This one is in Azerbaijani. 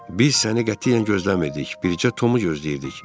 Biz səni qətiyyən gözləmirdik, bircə Tomu gözləyirdik.